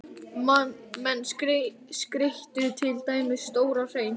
Menn skreyttu til dæmis stóran hrein.